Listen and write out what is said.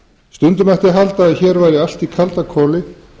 stundum mætti halda að hér væri allt í kaldakoli